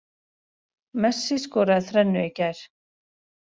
Messi skoraði þrennu í gær